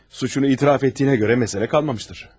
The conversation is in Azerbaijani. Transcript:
Suçunu etiraf etdiyinə görə məsələ qalmamışdır.